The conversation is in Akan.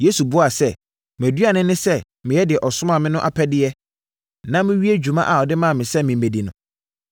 Yesu buaa sɛ, “Mʼaduane ne sɛ meyɛ deɛ ɔsomaa me no apɛdeɛ na mewie dwuma a ɔde maa me sɛ memmɛdi no.